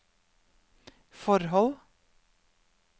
forhold